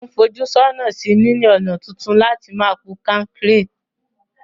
Mo n fojú sónà sí níní ònà tuntun láti ma po kankéré